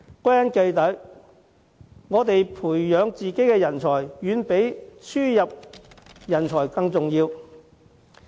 歸根結底，培養本地人才遠比輸入人才重要。